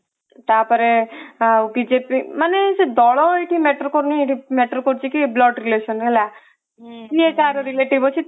ତାପରେ ବିଜେପି ମାନେ ସେ ଦଳ ଏଠି matter କରୁନି ଏଠି matter କରୁଛି କି blood relation ହେଲା କିଏ କାହାର relative ଅଛି